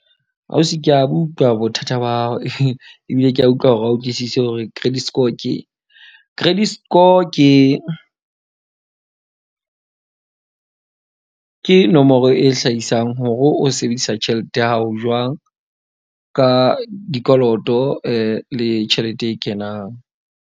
Ausi ke a utlwa bothata ba hao ebile ke a utlwa hore a utlwisise hore credit score ke. Credit score ke ke nomoro e hlahisang hore o sebedisa tjhelete ya hao jwang ka dikoloto le tjhelete e kenang.